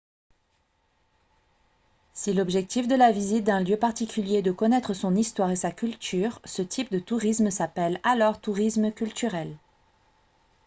si l'objectif de la visite d'un lieu particulier est de connaître son histoire et sa culture ce type de tourisme s'appelle alors tourisme culturel